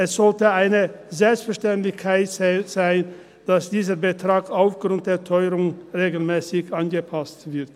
Es sollte eine Selbstverständlichkeit sein, dass dieser Betrag aufgrund der Teuerung regelmässig angepasst wird.